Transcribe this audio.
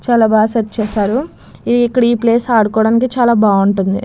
చాలా బాగా సెర్చ్ చేశారు ఈ ప్లేస్ ఇక్కడ ఆడుకోడానికి చాలా బాగుంటది.